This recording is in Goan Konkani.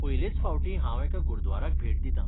पयलेच फावटी हांव एका गुरद्वाराक भेट दितां.